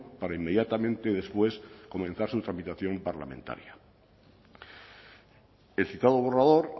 para inmediatamente después comenzar su tramitación parlamentaria el citado borrador